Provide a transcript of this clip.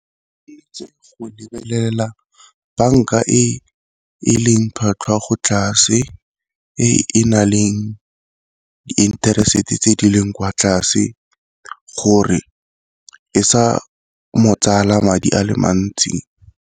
banka e e leng tlhwatlhwa go tlase, e na le di-interest tse di leng kwa tlase gore e sa madi a le mantsi.